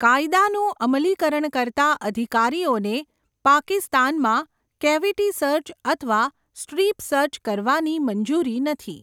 કાયદાનું અમલીકરણ કરતાં અધિકારીઓને પાકિસ્તાનમાં કેવિટી સર્ચ અથવા સ્ટ્રીપ સર્ચ કરવાની મંજૂરી નથી.